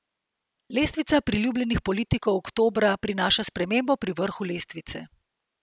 Lestvica priljubljenosti politikov oktobra prinaša spremembo pri vrhu lestvice.